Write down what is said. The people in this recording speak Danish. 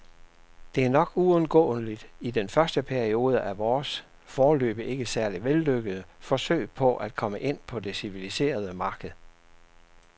Det er nok uundgåeligt i den første periode af vores, foreløbig ikke særlig vellykkede, forsøg på at komme ind på det civiliserede marked.